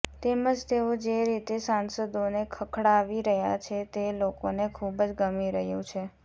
તેમજ તેઓ જે રીતે સાંસદોને ખખડાવી રહ્યા છે તે લોકોને ખુબજ ગમી રહ્યું છે